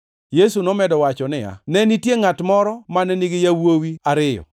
Yesu nomedo wacho niya, “Ne nitie ngʼato moro mane nigi yawuowi ariyo.